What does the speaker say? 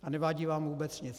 A nevadí vám vůbec nic.